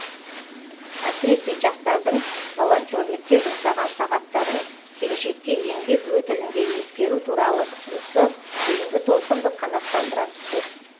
әсіресе жастардың волонтерлікке жұмсаған сағаттарын келешекте еңбек өтілінде ескеру туралы ұсынысы кейінгі толқынды қанаттандыра түсті